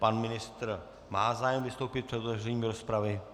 Pan ministr má zájem vystoupit před otevřením rozpravy.